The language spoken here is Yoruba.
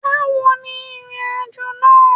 Báwo ni ìrìnàjò náà?